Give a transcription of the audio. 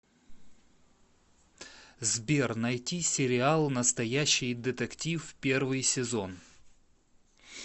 сбер найти сериал настоящий детектив первый сезон